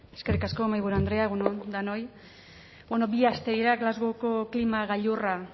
eskerrik asko mahaiburu andrea egun on denoi bi aste dira glasgowko klima gailurra